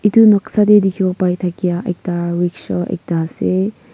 etu noksa teh dikhibo pai thakia ekta rickshaw ekta ase.